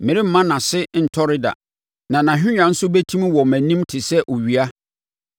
Meremma nʼase ntɔre da na nʼahennwa nso bɛtim wɔ mʼanim te sɛ owia;